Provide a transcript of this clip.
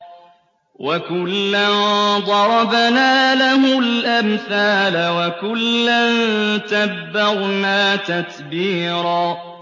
وَكُلًّا ضَرَبْنَا لَهُ الْأَمْثَالَ ۖ وَكُلًّا تَبَّرْنَا تَتْبِيرًا